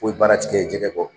O ye baara ti kɛ jɛgɛ kɔ